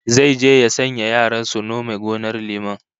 Zai je ya sanya yaran su nome gonar liman